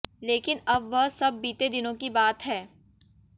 लेकिन अब वह सब बीते दिनों की बात है